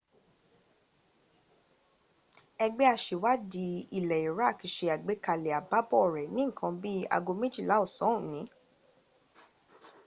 ẹgbẹ́ aṣèwádìí ilẹ̀ iraq se àgbékalẹ̀ àbábọ̀ rẹ̀ ní nǹkan bí i aago méjìlá ọ̀sán òní